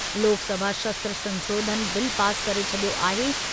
लोकसभा शस्त्र संशोधन bill pass करे छॾियो आहे।